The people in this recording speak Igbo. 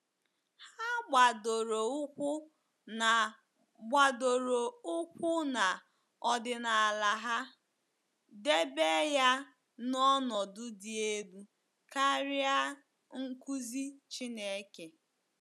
Ha gbadoro ụkwụ na gbadoro ụkwụ na ọdịnala ha, debe ya n’ọnọdụ dị elu karịa nkụzi Chineke.